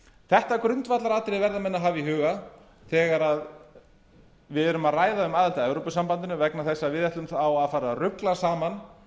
þetta grundvallaratriði verða menn að hafa í huga þegar menn eru að ræða um aðildina að evrópusambandinu vegna þess að við ætlum þá að fara að rugla saman